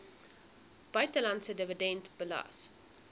buitelandse dividend belas